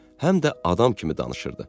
Həm də adam kimi danışırdı.